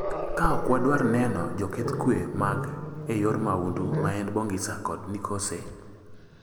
Ka ok wadwar neno joketh kwe mag e yor maundu ma en Bongisa kod Nisoke